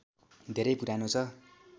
धेरै पुरानो छ